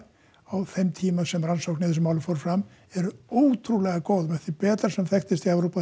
á þeim tíma sem rannsókn á þessu máli fór fram eru ótrúlega góðar með þeim betri sem þekkist í Evrópu